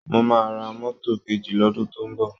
Mo máa ra mọ́tò kejì lọ́dùn tó ń bọ̀